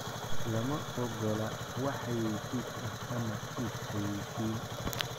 Lama ogola wax xayaysiis ah ama is xaayeysiin.